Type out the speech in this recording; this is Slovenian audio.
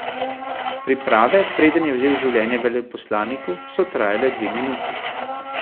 Priprave, preden je vzel življenje veleposlaniku, so trajale dve minuti.